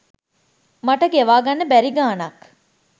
මට ගෙවා ගන්න බැරි ගාණක්.